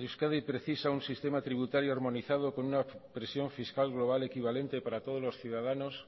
euskadi precisa un sistema tributario armonizado con una presión fiscal global equivalente para todos los ciudadanos